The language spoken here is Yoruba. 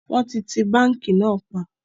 Wọn ti ti báńkì náà pa